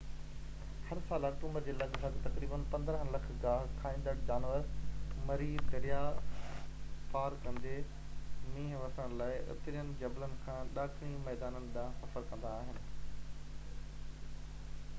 هر سال آڪٽوبر جي لڳ ڀڳ تقريباً 15 لک گاهه کائيندڙ جانور مري درياء پار ڪندي مينهن وسڻ لاءِ اترين جبلن کان ڏاکڻي ميدانن ڏانهن سفر ڪندا آهن